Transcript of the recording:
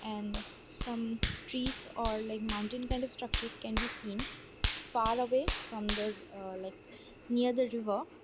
and some trees or leg mountain kind of structure can be seen far away from that like near the river.